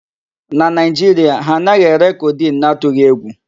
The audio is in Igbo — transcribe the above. Na Nigeria, ha anaghị ere codeine n'atughi egwu.